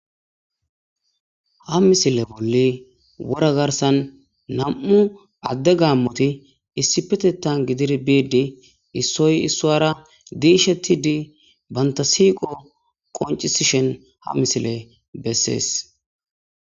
Ha misilezan bolli na'mu adey gamoti issipetetha gididi bidi issoy isara dishetidi banita siqo qonicises ha misile beses